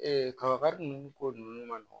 kabakari ninnu ko ninnu ma nɔgɔn